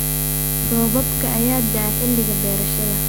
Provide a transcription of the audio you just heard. Roobabka ayaa da'a xilliga beerashada.